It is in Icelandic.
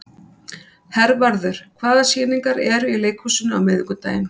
Hervarður, hvaða sýningar eru í leikhúsinu á miðvikudaginn?